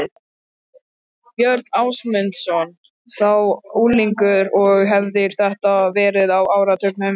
Björn Ásmundsson, þá unglingur og hefir þetta verið á áratugnum